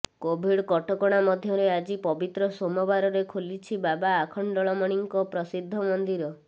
Covid କଟକଣା ମଧ୍ୟରେ ଆଜି ପବିତ୍ର ସୋମବାରରେ ଖୋଲିଛି ବାବା ଆଖଣ୍ଡଳମଣିଙ୍କ ପ୍ରସିଦ୍ଧ ମନ୍ଦିର